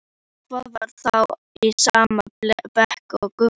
Hún var þá í sama bekk og Gugga!